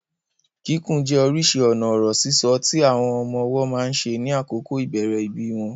Kíkùn jẹ́ orísìí ọ̀nà ọ̀rọ̀ sísọ tí àwọn ọmọ ọwọ́ máa ń ṣe ní àkókò ìbẹ̀rẹ̀ ìbí wọn.